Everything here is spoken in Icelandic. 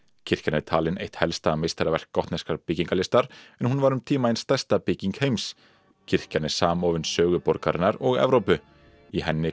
kirkjan er talin eitt helsta meistaraverk byggingarlistar en hún var um tíma ein stærsta bygging heims kirkjan er samofin sögu borgarinnar og Evrópu í henni